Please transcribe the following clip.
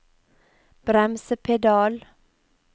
bremsepedal